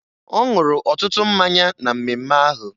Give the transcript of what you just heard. Ọ ṅụrụ ọtụtụ mmanya na mmemme ahụ